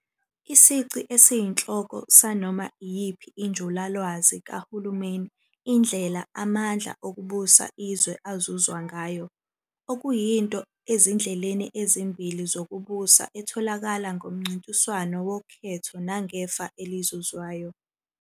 Isici esiyinhloko sanoma iyiphi injulalwazi kahulumeni indlela amandla okubusa izwe azuzwa ngayo, okuyinto ezindleleni ezimbili zokubusa etholakala ngomncintiswano wokhetho nangefa elizuzwayo.